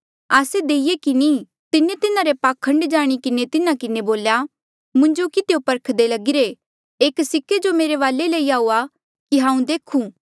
आस्से देईऐ कि नी तिन्हें तिन्हारा पाखंड जाणी किन्हें तिन्हा किन्हें बोल्या मुंजो किधियो परखदे लगिरे एक सिक्के जो मेरे वाले लई आऊआ कि हांऊँ देखूं